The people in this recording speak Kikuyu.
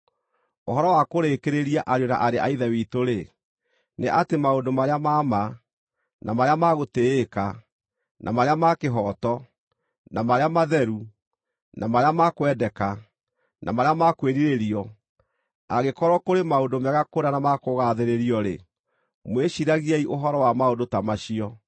Ũhoro wa kũrĩkĩrĩria, ariũ na aarĩ a Ithe witũ-rĩ, nĩ atĩ maũndũ marĩa ma ma, na marĩa ma gũtĩĩka, na marĩa ma kĩhooto, na marĩa matheru, na marĩa ma kwendeka, na marĩa ma kwĩrirĩrio, angĩkorwo kũrĩ maũndũ mega kũna na ma kũgaathĩrĩrio-rĩ, mwĩciiragiei ũhoro wa maũndũ ta macio.